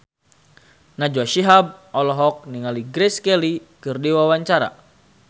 Najwa Shihab olohok ningali Grace Kelly keur diwawancara